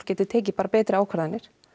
geti tekið betri ákvarðanir